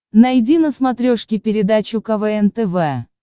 найди на смотрешке передачу квн тв